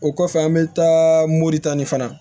O kɔfɛ an bɛ taa moritani fana